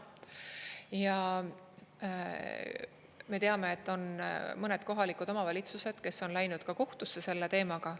Ja me teame, et on mõned kohalikud omavalitsused, kes on läinud ka kohtusse selle teemaga.